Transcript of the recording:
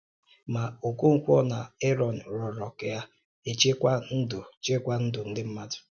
Ma Okonkwo na Eron rịọrọ ka e chekwaa ndụ chekwaa ndụ ndị mmadụ.